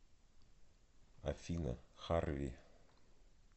афина харви